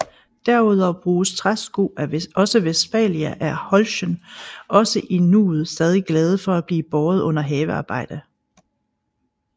Derudover bruges træsko også Westphalia er Holschen også i nuet stadig glade for at blive båret under havearbejde